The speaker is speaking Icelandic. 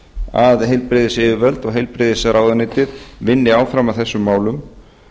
að heilbrigðisyfirvöld og heilbrigðisráðuneytið vinni áfram að þessum málum